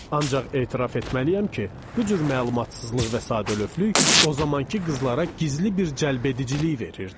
Ancaq etiraf etməliyəm ki, bu cür məlumatsızlıq və sadəlövflük o zamankı qızlara gizli bir cəlbedicilik verirdi.